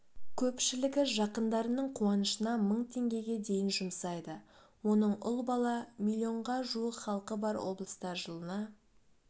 көпшілігі жақындарының қуанышына мың теңгеге дейін жұмсайды оның ұл бала миллионға жуық халқы бар облыста жылына